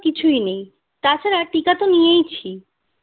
কিছুই নেই তাছাড়া টিকা তো নিয়েছি